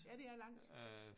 Ja det er langt